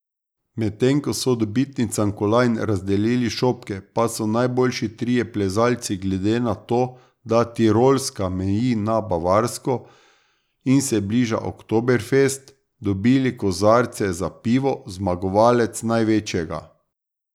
Medtem ko so dobitnicam kolajn razdelili šopke, pa so najboljši trije plezalci, glede na to, da Tirolska meji na Bavarsko in se bliža oktoberfest dobili kozarce za pivo, zmagovalec največjega.